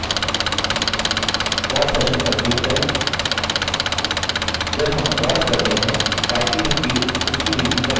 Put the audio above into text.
pause session पर click करें जब हम पॉज़ करते हैं typing speed उसी गिनती पर रहती है